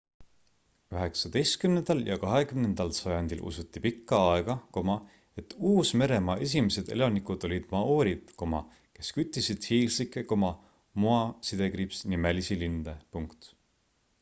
üheksateistkümnendal ja kahekümnendal sajandil usuti pikka aega et uus-meremaa esimesed elanikud olid maoorid kes küttisid hiiglaslikke moa-nimelisi linde